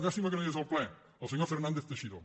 llàstima que no hi és al ple el senyor fernández teixidó